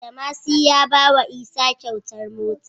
Badamasi ya bawa isa kyautar mota